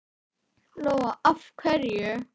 Lóa: Af hverju?